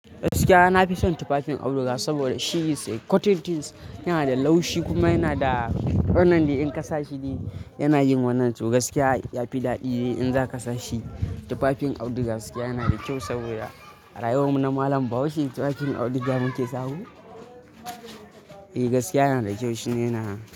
Gaskiya na fi son tufafin auduga saboda shi is a cotton tins. Yana da laushi kuma yana da wannan in ka sa shi yana yin wannan. To gaskiya ya fi daɗi in za ka sa shi. Tufafin auduga gaskiya yana da kyau saboda a rayuwar mu na malam bahaushe tufafin auduga muke sa wa. Eh gaskiya yana da kyau shi ne na.